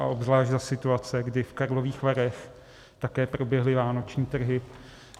A obzvlášť za situace, kdy v Karlových Varech také proběhly vánoční trhy.